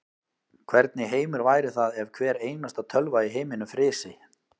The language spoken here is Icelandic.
Hvernig heimur væri það ef hvar einasta tölva í heiminum frysi.